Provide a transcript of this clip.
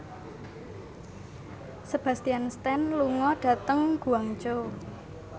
Sebastian Stan lunga dhateng Guangzhou